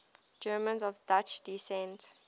germans of dutch descent